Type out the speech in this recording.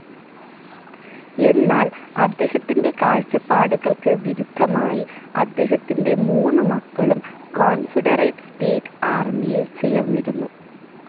എന്നാൽ അദ്ദേഹത്തിൻ്റെ കാഴ്ച്ചപ്പാടുകൾക്ക് വിരുദ്ധമായി അദ്ദേഹത്തിൻ്റെ മൂന്നു മക്കളും കോൺഫെഡറേറ്റ്‌ സ്റ്റേറ്റ്‌ ആർമിയിൽ ചേർന്നിരുന്നു.